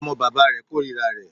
Ọmọ bàbá rẹ̀ kòrira rẹ̀.